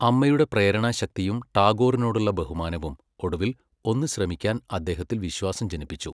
അമ്മയുടെ പ്രേരണാശക്തിയും ടാഗോറിനോടുള്ള ബഹുമാനവും ഒടുവിൽ ഒന്നു ശ്രമിക്കാൻ അദ്ദേഹത്തിൽ വിശ്വാസം ജനിപ്പിച്ചു.